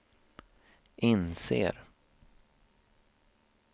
inser